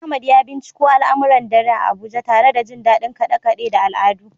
Ahmad ya binciko al’amuran dare a Abuja, tare da jin dadin kade-kade da al’adu.